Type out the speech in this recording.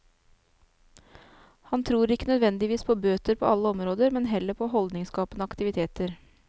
Han tror ikke nødvendigvis på bøter på alle områder, men heller på holdningsskapende aktiviteter.